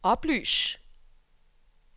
oplys